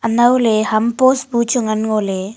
anowley ham post bu chu ngan nholey.